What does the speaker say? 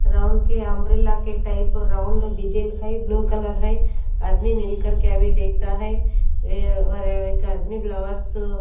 round के umbrella के type round design है ब्लू कलर है आदमी मिलकर के अभी देखता है ए और एक आदमी फ्लावर्स --